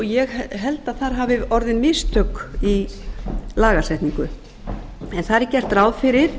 ég held að þar hafi orðið mistök í lagasetningu þar er gert ráð fyrir